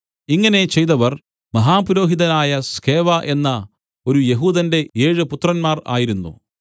ഇങ്ങനെ ചെയ്തവർ മഹാപുരോഹിതനായ സ്കേവാ എന്ന ഒരു യെഹൂദന്റെ ഏഴ് പുത്രന്മാർ ആയിരുന്നു